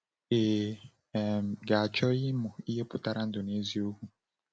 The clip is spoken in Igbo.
Ị um ga-achọ ịmụ ihe pụtara ndụ n’eziokwu?